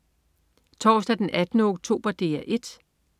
Torsdag den 18. oktober - DR 1: